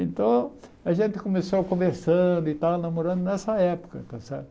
Então, a gente começou conversando e tal, namorando nessa época, está certo?